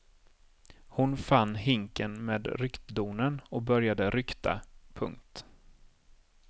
Hon fann hinken med ryktdonen och började rykta. punkt